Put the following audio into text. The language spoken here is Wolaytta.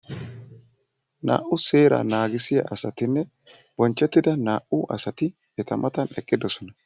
Naa'u seeraa naagissiya asatinne bonchchettida naa'u asati eta matan eqqidosona.